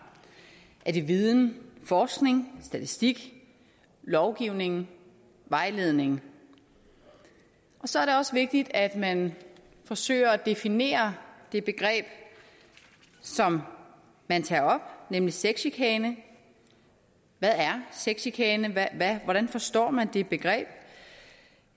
er det viden forskning statistik lovgivning vejledning og så er det også vigtigt at man forsøger at definere det begreb som man tager op nemlig sexchikane hvad er sexchikane hvordan forstår man det begreb